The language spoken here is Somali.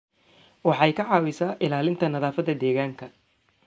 Waxay ka caawisaa ilaalinta nadaafadda deegaanka.